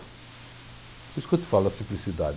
Por isso que eu te falo da simplicidade.